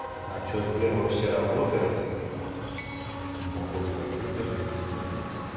а что сбер вообще работает по-моему походу закрыто же везде нет